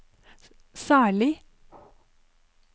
særlig